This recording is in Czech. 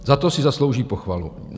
Za to si zaslouží pochvalu.